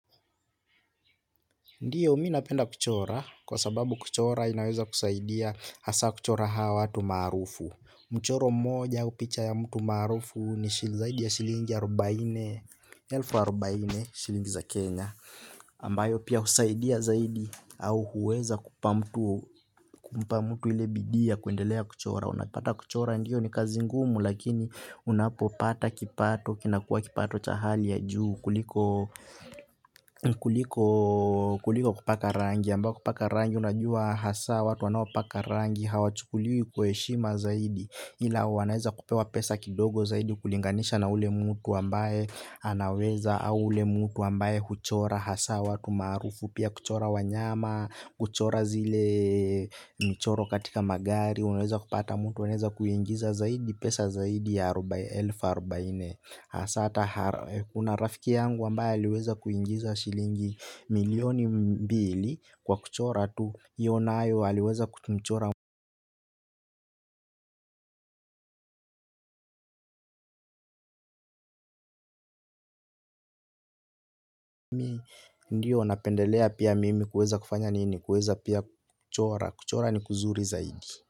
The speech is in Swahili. Ndiyo minapenda kuchora kwa sababu kuchora inaweza kusaidia hasaa kuchora hawa watu maarufu. Mchoro mmoja au picha ya mtu maarufu ni shili zaidi ya shilingi arobaini elfu arobaini shilingi za Kenya Ambayo pia usaidia zaidi au huweza kumpa mtu ile bidii ya kwendelea kuchora unapata kuchora ndiyo ni kazi ngumu lakini unapopata kipato kinakua kipato cha hali ya juu kuliko kuliko kupaka rangi ambako kupaka rangi unajua hasa watu wanao paka rangi hawa chukuliwi kwa heshima zaidi ila wanaeza kupewa pesa kidogo zaidi kulinganisha na ule mutu ambaye anaweza au ule mutu ambaye huchora hasaa watu maarufu pia kuchora wanyama kuchora zile michoro katika magari uneza kupata mtu aneza kuingiza zaidi pesa zaidi ya arobaini elfu arobaini. Sata kuna rafiki yangu ambaye aliweza kuingiza shilingi milioni mbili kwa kuchora tu. Iyo nayo aliweza kumchora mimi ndiyo napendelea pia mimi kueza kufanya nini kueza pia kuchora kuchora ni kuzuri zaidi.